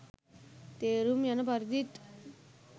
තේරුම් යන පරිදිත්